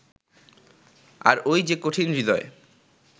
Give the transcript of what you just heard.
আর ওই যে কঠিন-হৃদয়